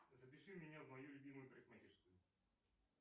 запиши меня в мою любимую парикмахерскую